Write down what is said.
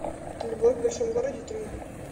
любовь в большом городе три